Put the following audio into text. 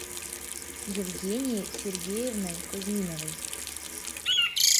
евгенией сергеевной кузьминовой